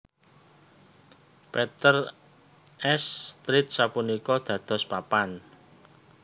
Peter s Street sapunika dados papan